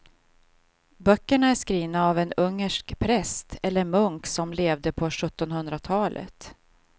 Böckerna är skrivna av en ungersk präst eller munk som levde på sjuttonhundratalet.